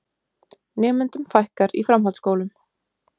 Nemendum fækkar í framhaldsskólum